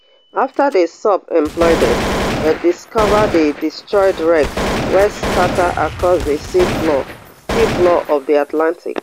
afta di sub imploded dem discover di destroyed wreckage wey scata across di sea floor sea floor of di atlantic